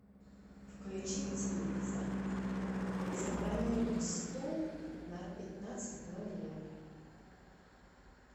включить телевизор забронировать стол на пятнадцать ноль ноль